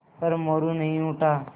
पर मोरू नहीं उठा